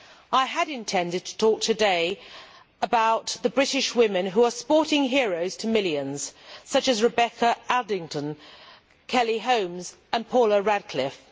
I had intended to talk today about the British women who are sporting heroes to millions, such as Rebecca Adlington, Kelly Holmes and Paula Radcliffe.